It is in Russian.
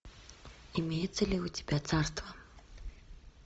имеется ли у тебя царство